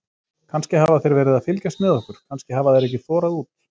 Kannski hafa þeir verið að fylgjast með okkur, kannski hafa þeir ekki þorað út.